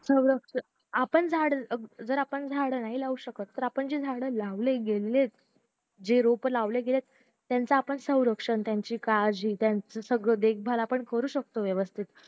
सौरक्षण आपण झाड जर आपण झाड नाही लावू शकत तर आपण जे झाड लावले गेले जे रोप लावले गेले त्यांचं आपण सौरक्षण त्यांची काळजी सगळं देखभाल करू शकतो व्यवस्तीत